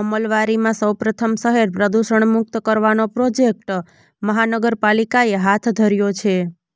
અમલવારીમાં સૌપ્રથમ શહેર પ્રદુષણમુક્ત કરવાનો પ્રોજેકટ મહાનગરપાલીકાએ હાથ ધર્યો છે